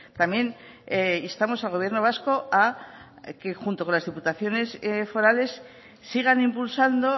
también instamos al gobierno vasco a que junto con las diputaciones forales sigan impulsando